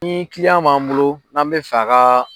Ni kiliyan b'an bolo n'an bɛ fɛ ka